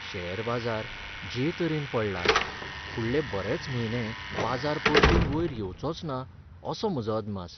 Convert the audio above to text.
Share बाजार जे तरेन पडला, फुडले बरेच म्हयने बाजार परतून वयर येवचोच ना असो म्हजो अदमास.